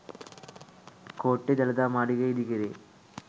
කෝට්ටේ දළදා මාලිගය ඉදි කරේ